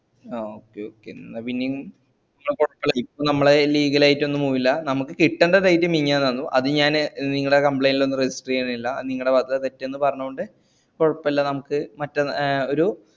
അഹ് okay okay ന്നാ പിന്നെ ഇപ്പൊ നമ്മള് leagal ആയിട്ടൊന്നും പോണില്ല നമ്മക്ക് കിട്ടണ്ട date മിഞ്ഞാന്നേന്നു അത് ഞാന് നിങ്ങളെ complaint ലൊന്നും register ചെയ്യുന്നില്ല അത് നിങ്ങളെ ഭാഗത്തുള്ള തെറ്റെന്ന് പറഞ്ഞോണ്ട് കൊയ്പല്ല നമ്ക് മറ്റെ ഏ ഒരു